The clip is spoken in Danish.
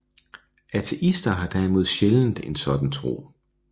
Ateister har derimod sjældent en sådan tro